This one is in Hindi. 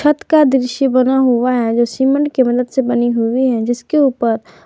छत का दृश्य बना हुआ है जो सीमेंट की मदद से बनी हुई है जिसके ऊपर --